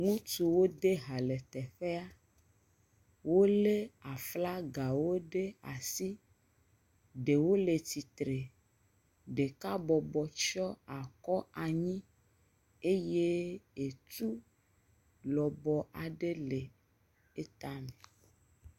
ŋutsuwo de ba le teƒɛa wóle aflaga ɖe asi ɖɛwo le tsitre ɖeka bɔbɔ tsyɔ akɔ anyi eye etu lɔbɔ aɖe le eta nɛ